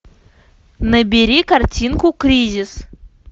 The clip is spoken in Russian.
набери картинку кризис